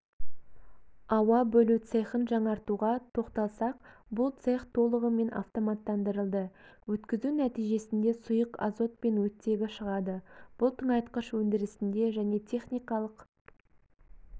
ауа бөлу цехын жаңартуға тоқталсақ бұл цех толығымен автоматтандырылды өткізу нәтижесінде сұйық азот пен оттегі шығады бұл тыңайтқыш өндірісінде және техникалық